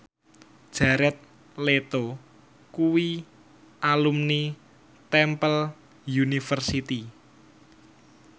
Jared Leto kuwi alumni Temple University